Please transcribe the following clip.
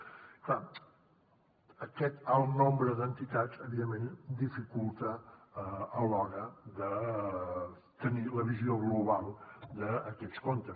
clar aquest alt nombre d’entitats evidentment dificulta a l’hora de tenir la visió global d’aquests comptes